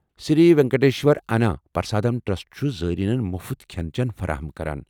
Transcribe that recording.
سری Venkateshwara Anna Prasadam trust چُھ زایرینن مُفت کھٮ۪ن چٮ۪ن فراہم کران۔